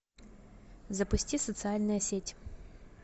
запусти социальная сеть